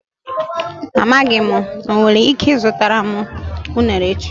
Amaghị m, o nwere ike ịzụtara m unere echi.